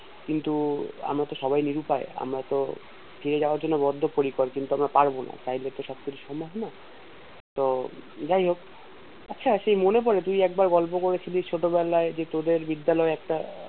কিন্তু আমরা তো সবাই নিরুপায় আমরা তো ফিরে যাওয়ার জন্য বদ্ধ পরিকর কিন্তু আমরা পারবো না চাইলে তো সব কিছু সম্ভব না তো যাই হোক আচ্ছা সেই মনে পরে তুই একবার গল্প করেছিলি ছোট বেলায় যে তোদের বিদ্যালয় একটা